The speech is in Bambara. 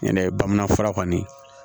Ɲɛnɛ bamanan fura kɔni